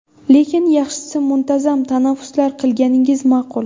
Lekin, yaxshisi muntazam tanaffuslar qilganingiz ma’qul.